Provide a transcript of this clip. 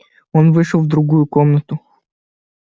он вышел в другую комнату